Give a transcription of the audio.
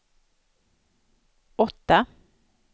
åtta